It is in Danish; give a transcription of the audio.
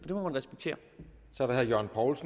og